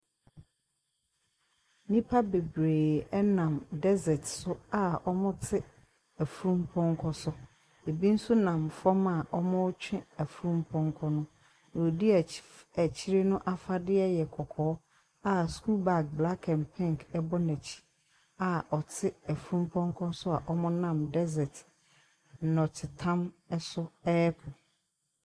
Nipa bebree ɛrenam dɛsɛt so a wɔn rete afunum pɔnkɔ so. Ebi nso na fam a wɔn retwe afunum pɔnkɔ no. Deɛ ɔdi akyire no afadeɛ yɛ kɔkɔɔ a sukuu baage blak ɛnd pink ɛbɔ no akyi a ɔte afunum pɔnkɔ so a wɔn renam dɛsɛt nɔtetam ɛso ɛrekɔ.